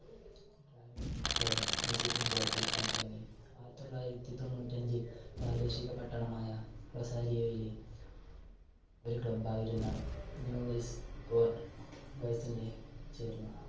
ചേർന്ന് Messi football കളിക്കാൻ തുടങ്ങി ആയിരത്തി തൊള്ളായിരത്തി തൊണ്ണൂറ്റഞ്ചിൽ പ്രാദേശിക പട്ടണമായ റൊസാരിയോയിലെ ഒരു club ആയിരുന്ന ന്യൂ വെൽസ് ഓൾഡ് ബോയിസിന്റെ ചേർന്നു.